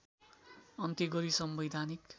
अन्त्य गरी संवैधानिक